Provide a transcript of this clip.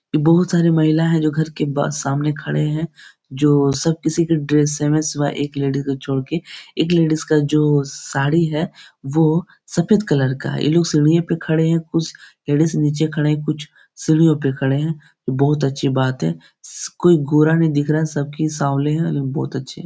ये बहुत सारे महिला हैं जो घर के बा सामने खड़े हैं जो सब किसी का ड्रेस सेम हैं सिवाए एक लेडिज को छोड़ के एक लेडिज का जो साड़ी है वो सफ़ेद कलर का है ये लोग सीढ़ियों पर खड़े हैं कुछ सीढ़ी से नीचे खड़े हैं कुछ सीढ़ियों पर खड़े हैं बहुत अच्छी बात है स कोई गोरा नहीं दिख रहा है सबके सावलें हैं बहुत अच्छे --